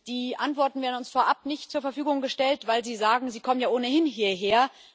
Die Antworten werden uns vorab nicht zur Verfügung gestellt, weil Sie sagen Sie kommen ja ohnehin hierher.